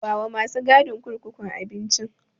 Bawa masu gadin kurkukun abincin.